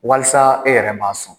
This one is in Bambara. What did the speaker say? Walasa e yɛrɛ m'a sɔn